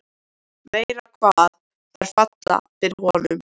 Meira hvað þær falla fyrir honum!